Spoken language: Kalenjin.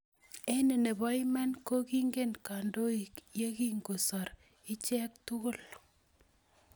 Eng ne bo iman ko ko kingen kandoik ye kingesoru icheek tugul.